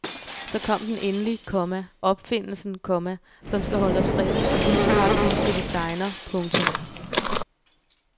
Så kom den endelig, komma opfindelsen, komma som skal holde os friske og livskraftige til vi segner. punktum